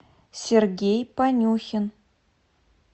сергей панюхин